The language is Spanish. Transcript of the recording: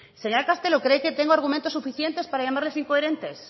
señora castelo cree que tengo argumentos suficientes para llamarles incoherentes